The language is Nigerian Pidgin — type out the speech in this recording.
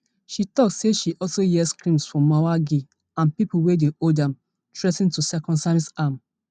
she tok say she also hear screams from mwangi and pipo wey dey hold am threa ten to circumcise am